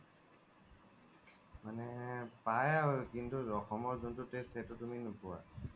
পাই আৰু কিন্তু অসমৰ জুন্তু taste সেইতো তুমি নোপুৱা